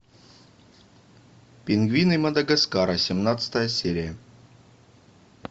пингвины мадагаскара семнадцатая серия